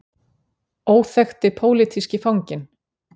Óþekkti pólitíski fanginn.